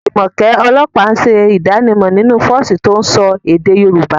Jumoke, ọlọ́pàá, ń ṣe ìdánimọ̀ nínú fọ́ọ̀sì tó ń sọ èdè Yorùbá.